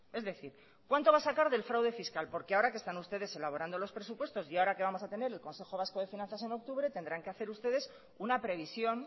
es decir cuánto va a sacar del fraude fiscal porque ahora que están ustedes elaborando los presupuestos y ahora que vamos a tener el consejo vasco de finanzas en octubre tendrán que hacer ustedes una previsión